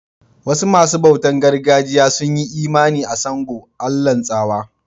Wasu masun bautan gargajiya sun yi Imani a Sango, Allah'n tsawa.